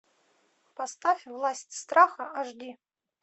поставь власть страха аш ди